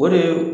O de ye